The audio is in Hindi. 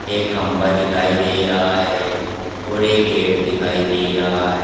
एक खंभा दिखाई दे रहा है और एक गेट दिखाई दे रहा है।